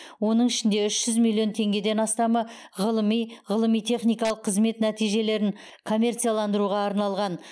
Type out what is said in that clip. оның ішінде үш жүз миллион теңгеден астамы ғылыми ғылыми техникалық қызмет нәтижелерін коммерцияландыруға арналған